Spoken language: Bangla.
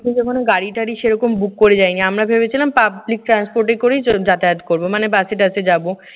যেমন গাড়িটারি সেই রকম book করে যাইনি। আমরা ভেবেছিলাম public transport এ করে যাতায়াত করবো মানে বাসে-টাসে যাব।